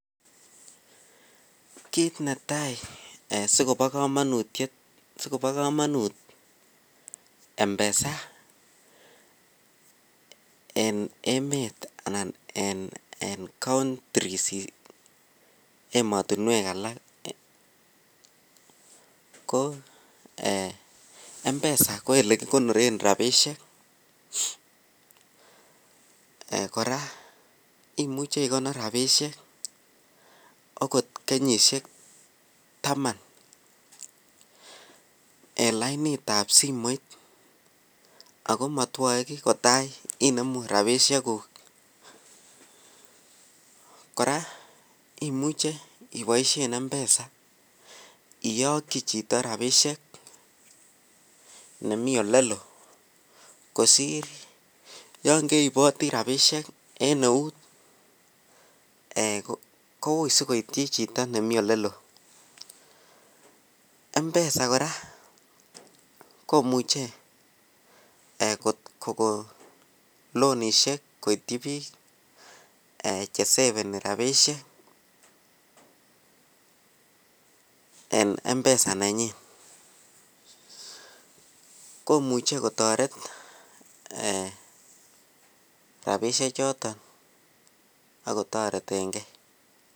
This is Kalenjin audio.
Kit netai asi kobo kamanut mpesa en emet anan emotinwek alak ko mpesa ko ole kigonoren rabisiek kora imuche igonor rabisiek okot kenyisiek taman en lainatab simoit ago motwoe ki kota inemu rabisiekuk kora imuche iboisien mpesa iyokyi chito rabisiek ne mi oleloo kosir yon keiboti rabisiek en eut koui asi koityi chito nemi oleloo mpesa kora komuche kogon lonisiek koityi bik Che seveni rabisiek en mpesa nenyin komuche kotoret rabisiechuto ak kotoreten ge